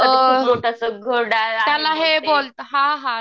अ त्याला हे बोलतात हां हां